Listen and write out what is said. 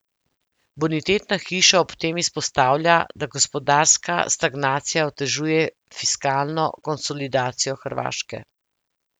Bonitetna hiša ob tem izpostavlja, da gospodarska stagnacija otežuje fiskalno konsolidacijo Hrvaške.